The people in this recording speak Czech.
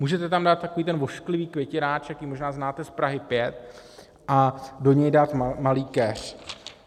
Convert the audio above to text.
Můžete tam dát takový ten ošklivý květináč, jaký možná znáte z Prahy 5, a do něj dát malý keř.